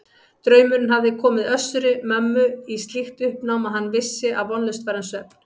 Draumurinn hafði komið Össuri-Mömmu í slíkt uppnám að hann vissi að vonlaust var um svefn.